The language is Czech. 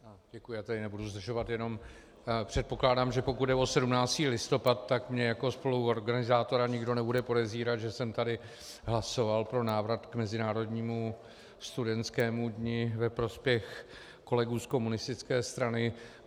Děkuji, já tady nebudu zdržovat, jenom předpokládám, že pokud jde o 17. listopad, tak mě jako spoluorganizátora nikdo nebude podezírat, že jsem tady hlasoval pro návrat k mezinárodnímu studentskému dni ve prospěch kolegů z komunistické strany.